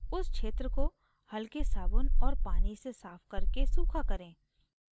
उस क्षेत्र को हलके साबुन और पानी से साफ़ करके सूखा करें